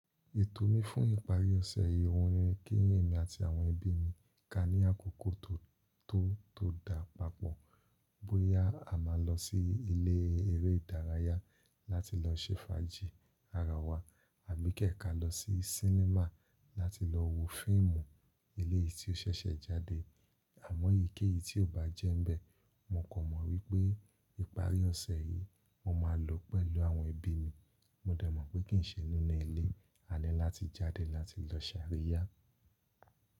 Ètò mi fún ìparí ọ̀sẹ̀ yìí, òhun ni kí ẹ̀mi àti àwọn ẹ̀bí mi, ka ní àkókò tó, tó da papọ̀. Bóyá a máa lọ sí ilé eré ìdárayá láti lọ ṣe fàájì ara wa àbí kẹ̀ kà lọ sí sinimá láti lọ wo fíìmù elẹ̀yìí tí ó ṣẹ̀ṣẹ̀ jáde. Àmọ́ èyíkéyìí tí ò bá jẹ́ n bẹ̀, mo kan mọ wípé ìparí ọ̀sẹ̀ yìí mo máa lọ pẹ̀lú àwọn ẹ̀bí mi. Mo de mọ̀ pé kì ń ṣe ni inú ilé, a ní láti jáde láti lọ sàríyá.